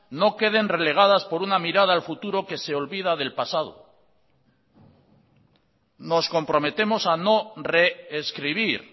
no queden relegadas por una mirada al futuro que se olvida del pasado nos comprometemos a no re escribir